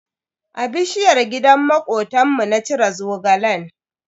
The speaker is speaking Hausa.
A bishiyar gidan makotanmu na cire Zogalen.